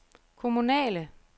kommunale